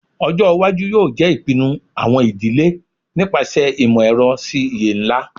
Ọjọ iwaju yoo jẹ ipinnu awọn idile nipasẹ imọ-ẹrọ si iye nla